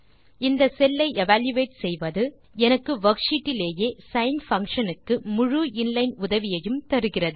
இந்த செல் ஐ எவல்யூயேட் செய்வது எனக்கு வர்க்ஷீட் டிலேயே சைன் பங்ஷன் க்கு முழு இன்லைன் உதவியையும் தருகிறது